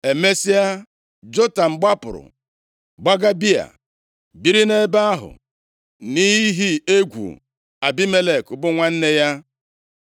Emesịa, Jotam gbapụrụ, gbaga Bịa, biri nʼebe ahụ nʼihi egwu Abimelek bụ nwanna ya.